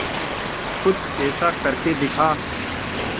कुछ ऐसा करके दिखा